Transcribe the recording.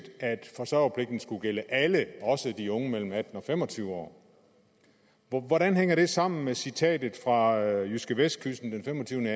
at forsørgerpligten skulle gælde alle også de unge mellem atten og fem og tyve år hvordan hænger det sammen med citatet fra jydskevestkysten den femogtyvende